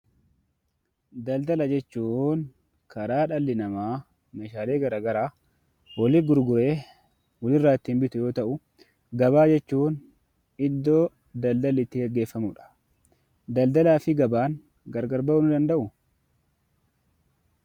Daldala jechuun karaa dhalli namaa meeshaalee garaa garaa walit gurguree walirraa ittiin bitu yoo ta'uu, Gabaa jechuun iddoo daldalli itti geggeeffamudha. Daldalaa fi gabaan gargar ba'uu ni danda'uu?